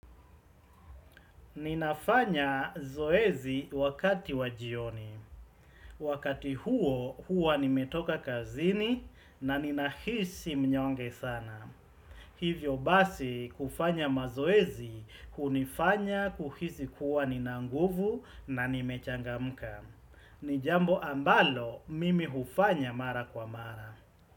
Ninafanya zoezi wakati wa jioni. Wakati huo huwa nimetoka kazini na ninahisi mnyonge sana. Hivyo basi kufanya mazoezi hunifanya kuhisi kuwa ninanguvu na nimechangamka. Nijambo ambalo mimi hufanya mara kwa mara.